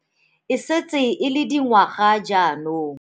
E setse e le dingwaga jaanong.